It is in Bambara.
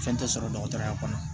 Fɛn tɛ sɔrɔ dɔgɔtɔrɔya kɔnɔ